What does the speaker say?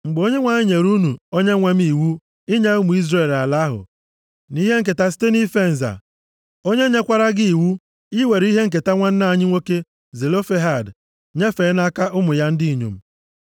“Mgbe Onyenwe anyị nyere unu onyenwe m iwu inye ụmụ Izrel ala ahụ nʼihe nketa site nʼife nza, onye nyekwara gị iwu iwere ihe nketa nwanne anyị nwoke Zelofehad nyefee nʼaka ụmụ ya ndị inyom.